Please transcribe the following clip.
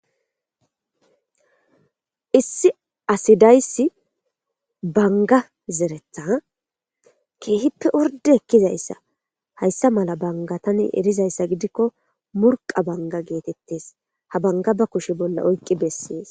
Issi asi de'iyayssi bangga zeretta keehippe ordde oykkizayssa. hayssappe mala bangga erzayssa gidikko murqqa bangga gettetees. Ha bangga ba kuushshe bolla oyqqi dettees